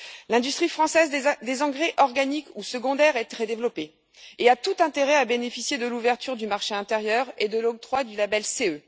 L'industrie française des engrais organiques ou secondaires est très développée et a tout intérêt à bénéficier de l'ouverture du marché intérieur et de l'octroi du label CE.